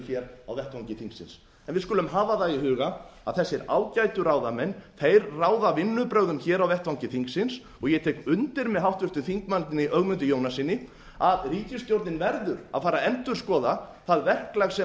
á vettvangi þingsins en við skulum hafa það í huga að þessir ágætu ráðamenn þeir ráða vinnubrögðum hér á vettvangi þingsins ég tel undir með háttvirtum þingmanni ögmundi jónassyni að ríkisstjórnin verður að fara að endurskoða það verklag sem